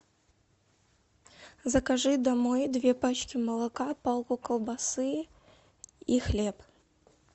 закажи домой две пачки молока палку колбасы и хлеб